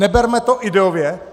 Neberme to ideově!